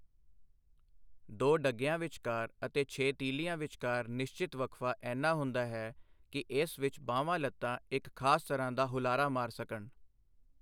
ਦੋ ਡਗਿਆਂ ਵਿਚਕਾਰ ਅਤੇ ਛੇ ਤੀਲ੍ਹੀਆਂ ਵਿਚਕਾਰ ਨਿਸ਼ਚਿਤ ਵਕਫ਼ਾ ਏਨਾ ਹੁੰਦਾ ਹੈ ਕਿ ਇਸ ਵਿੱਚ ਬਾਹਵਾਂ ਲੱਤਾਂ ਇੱਕ ਖਾਸ ਤਰ੍ਹਾਂ ਦਾ ਹੁਲਾਰਾ ਮਾਰ ਸਕਣ।